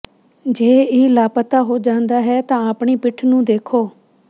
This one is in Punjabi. ਜੇ ਇਹ ਲਾਪਤਾ ਹੋ ਜਾਂਦਾ ਹੈ ਤਾਂ ਆਪਣੀ ਪਿੱਠ ਨੂੰ ਦੇਖੋ